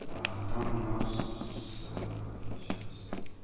а там у нас сейчас